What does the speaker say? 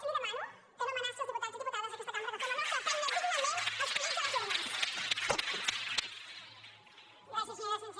li demano que no amenaci els diputats i diputades d’aquesta cambra que fem la nostra feina dignament escollits a les urnes